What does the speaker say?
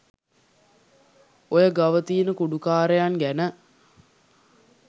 ඔය ගව තියෙන කුඩුකාරයන් ගැන